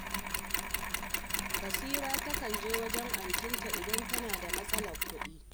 Basira takan je wajen antinta idan tana da matsalar kuɗi